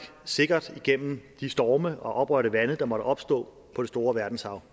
sikkert igennem de storme og oprørte vande der måtte opstå på det store verdenshav